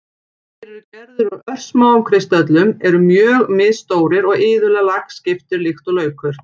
Þeir eru gerðir úr örsmáum kristöllum, eru mjög misstórir og iðulega lagskiptir líkt og laukur.